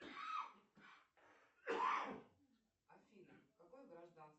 афина какое гражданство